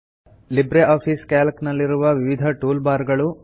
Libre Office Calc ನಲ್ಲಿರುವ ವಿವಿಧ toolbar ಗಳು